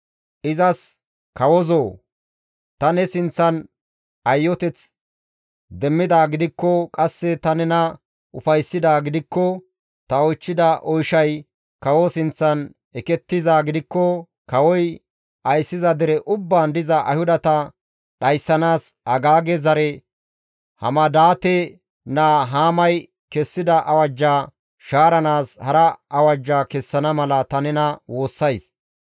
izas, «Kawozoo! Ta ne sinththan ayyoteth demmida gidikko, qasse ta nena ufayssidaa gidikko, ta oychchida oyshay kawo sinththan ekettizaa gidikko, kawoy ayssiza dere ubbaan diza Ayhudata dhayssanaas Agaage zare Hamadaate naa Haamay kessida awajja shaaranaas hara awajja kessana mala ta nena woossays.